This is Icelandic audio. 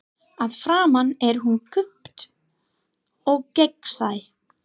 Að framan er hún kúpt og gegnsæ.